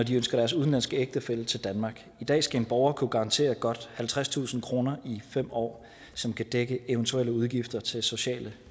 de ønsker deres udenlandske ægtefælle til danmark i dag skal en borger kunne garantere godt halvtredstusind kroner i fem år som kan dække eventuelle udgifter til sociale